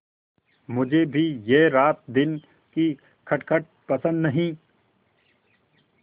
मुझे भी यह रातदिन की खटखट पसंद नहीं